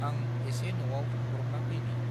आं एसे न'आव थांब्रबना फैनि।